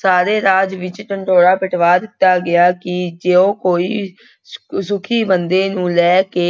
ਸਾਰੇ ਰਾਜ ਵਿੱਚ ਢਿਡੋਰਾ ਪਿਟਵਾ ਦਿੱਤਾ ਗਿਆ ਕਿ ਜੋ ਕੋਈ ਸੁੱਖੀ ਬੰਦੇ ਨੂੰ ਲੈ ਕੇ